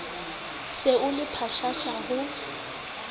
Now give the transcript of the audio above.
se o le pshasha ho